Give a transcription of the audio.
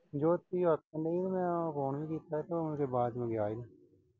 ਜੋਤੀ ਮੈਂ phone ਵੀ ਕੀਤਾ ਸੀ ਤੇ ਉਹ ਆਵਾਜ਼ ਨਈਂ ਆਈ।